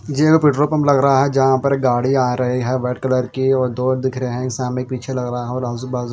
Jio petrol pump लग रहा है जहाँ पर गाड़ी आ रही है रेड कलर कि और डोर दिख रहा है और सामने पीछे लग रहे है और आजू बाजू--